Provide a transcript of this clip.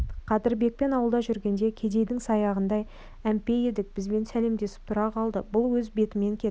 қадырбекпен ауылда жүргенде кедейдің саяғындай әмпей едік бізбен сәлемдесіп тұра қалды бұл өз бетімен кетіп